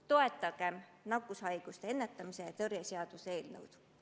Toetagem nakkushaiguste ennetamise ja tõrje seaduse eelnõu!